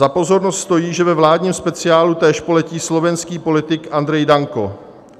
Za pozornost stojí, že ve vládním speciálu též poletí slovenský politik Andrej Danko.